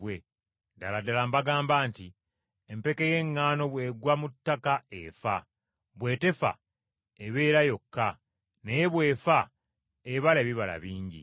Ddala ddala mbagamba nti empeke y’eŋŋaano bw’egwa mu ttaka efa, bwe tefa ebeera yokka, naye bw’efa ebala ebibala bingi.